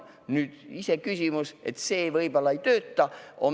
Nüüd, iseküsimus on see, et see võib-olla ei tööta.